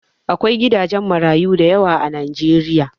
Akwai gidajen marayu dayawa a najeriya